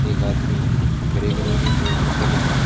एक आदमी grey colour के को कपड़े पहने हुए है।